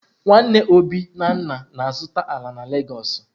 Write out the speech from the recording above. Nwanne Obi na nna na-azuta ala na Legosu.